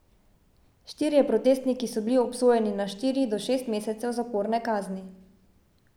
Štirje protestniki so bili obsojeni na štiri do šest mesecev zaporne kazni.